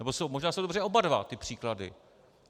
Nebo možná jsou dobře oba dva ty příklady.